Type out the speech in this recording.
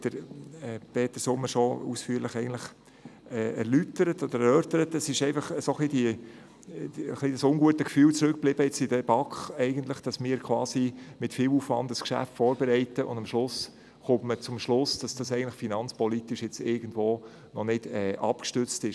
In der BaK blieb ein ungutes Gefühl zurück, weil wir mit viel Aufwand ein Geschäft vorbereiteten und man dann zum Schluss kam, dass es finanzpolitisch noch nicht abgestützt ist.